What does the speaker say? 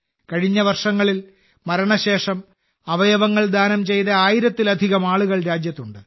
കഴിഞ്ഞ വർഷങ്ങളിൽ മരണശേഷം അവയവങ്ങൾ ദാനം ചെയ്ത ആയിരത്തിലധികം ആളുകൾ രാജ്യത്തുണ്ട്